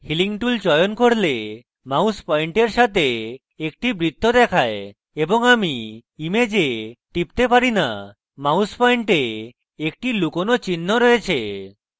আমি healing tool চয়ন করলে mouse পয়েন্টের সাথে একটি বৃত্ত দেখায় এবং আমি image টিপতে পারি না এবং mouse পয়েন্টে একটি লুকোনো চিহ্ন রয়েছে